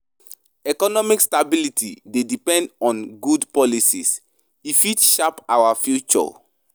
Economic stability dey depend on good policies; e fit shape our future.